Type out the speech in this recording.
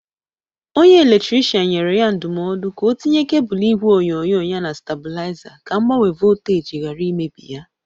Onye eletrikrishan nyere ya ndọmọdụ ka o tinye kebụl igwe onyonyo ya na stabụlịaza ka mgbanwe volteji gara imebi ya.